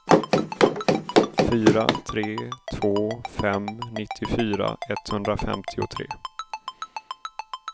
fyra tre två fem nittiofyra etthundrafemtiotre